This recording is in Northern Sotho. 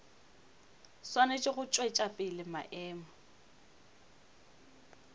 swanetše go tšwetša pele maemo